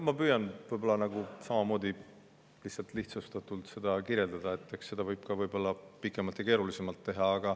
Ma püüan seda võib-olla samamoodi lihtsustatult kirjeldada, kuigi eks seda võib ka pikemalt ja keerulisemalt teha.